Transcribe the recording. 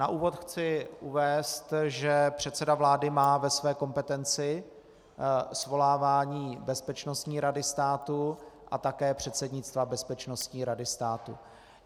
Na úvod chci uvést, že předseda vlády má ve své kompetenci svolávání Bezpečnostní rady státu a také předsednictva Bezpečnostní rady státu.